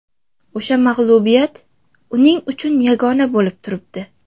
O‘sha mag‘lubiyat uning uchun yagona bo‘lib turibdi.